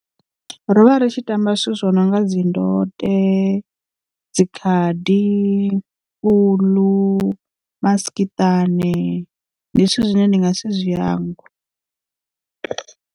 Ro vha ri tshi tamba zwithu zwo no nga dzi ndode dzi khadi, uḽu, masikiṱani ndi zwithu zwine ndi nga si zwi hangwe.